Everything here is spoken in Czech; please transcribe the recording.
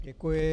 Děkuji.